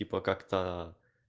типа как-то